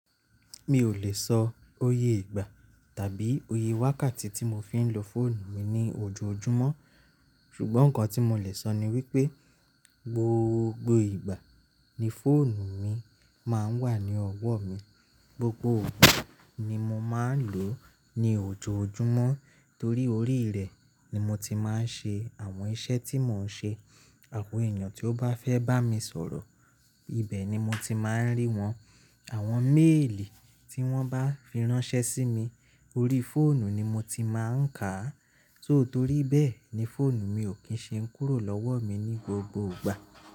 Mi ò lè sọ oyé ìgbà tàbí oyé wákàtí tí mo fi ń lo fóònù mi ní ojoojúmọ́, ṣùgbọ́n nǹkan tí mo lè sọ ni wípé gbogbo ìgbà ni fóònù mi máa ń wà ní ọwọ́ mi, gbogbo òru ni mo máa ń lò ó ní ojoojúmọ́ torí orí rẹ̀ ni mo ti máa ń ṣe àwọn iṣẹ́ tí mò ń ṣe. Àwọn èèyàn tí ó bá fẹ́ bá mi sọ̀rọ̀, ibẹ̀ ni mo ti máa ń rí wọn, àwọn méèlì tí wọ́n bá fi ránṣẹ́ sí mi, orí fóònù ni mo ti máa ń kà á. Tó torí bẹ́ẹ̀ ni fóònù mi ò kí ń ṣe kúrò lọ́wọ́ mi ní gbogbo ìgbà.